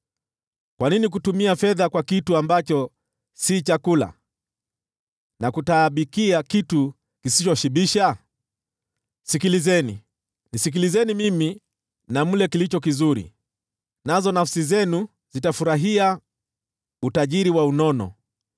Kwa nini kutumia fedha kwa kitu ambacho si chakula, na kutaabikia kitu kisichoshibisha? Sikilizeni, nisikilizeni mimi na mle kilicho kizuri, nazo nafsi zenu zitafurahia utajiri wa unono.